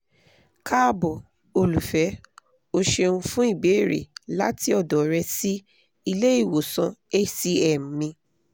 kaabo olufẹ o ṣeun fun ibeere lati ọdọ rẹ si ile-iwosan hcm mi